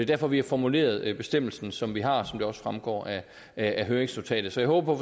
derfor vi har formuleret bestemmelsen som vi har som det også fremgår af af høringsnotatet så jeg håber